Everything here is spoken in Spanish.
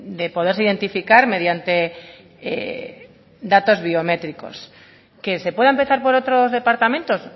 de poderse identificar mediante datos biométricos que se pueda empezar por otros departamentos